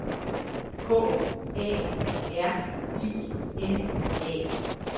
K A R I N A